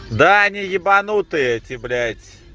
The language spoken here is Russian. да они ебанутые эти блять